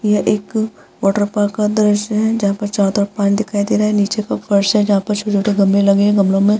यह एक water park का दृश्य है जहाँ पर चारों तरफ पानी दिखाई दे रहा है। निचे का फर्श है जहाँ फर्श पर चार ठो गमले लगे हैं। गमलो में --